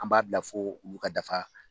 An b'a bila fo olu ka dafa